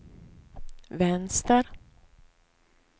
vänster